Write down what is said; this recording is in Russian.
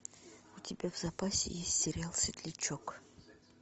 у тебя в запасе есть сериал светлячок